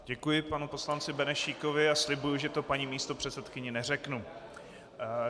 Děkuji panu poslanci Benešíkovi a slibuji, že to paní místopředsedkyni neřeknu.